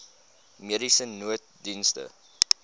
mediese nooddienste